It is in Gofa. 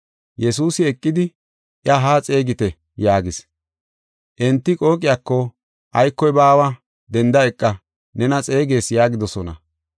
Yesuusi eqidi, “Iya haa xeegite” yaagis. Enti qooqiyako, “Aykoy baawa, denda eqa, nena xeegees” yaagidosona.